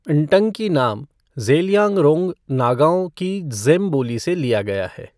न्टंकी नाम ज़ेलियांगरोंग नागाओं की ज़ेम बोली से लिया गया है।